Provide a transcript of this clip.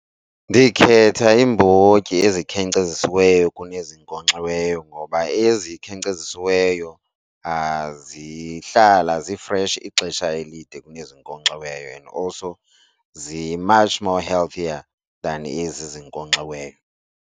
Ndikhetha iimbotyi ezikhenkcezisiweyo kunezinkonxiweyo ngoba ezikhenkcezesiweyo zihlala zifreshi ixesha elide kunezinkonkxiweyo and also zi-much more healthier than ezi zinkonkxiweyo.